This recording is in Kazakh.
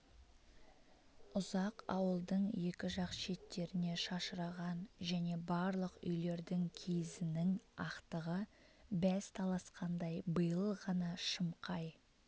ұзақ ауылдың екі жақ шеттеріне шашыраған және барлық үйлердің киізінің ақтығы бәс таласқандай биыл ғана шымқай